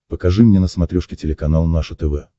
покажи мне на смотрешке телеканал наше тв